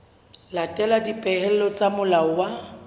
latela dipehelo tsa molao wa